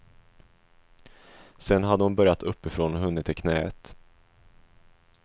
Sen hade hon börjat uppifrån och hunnit till knäet.